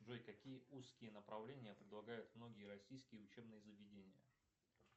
джой какие узкие направления предлагают многие российские заведения